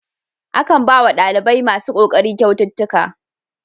Akan bawa ɗalibai masu kokari kyaututtuka.